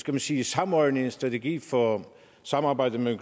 man sige samordne en strategi for samarbejdet med